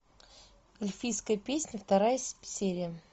эльфийская песнь вторая серия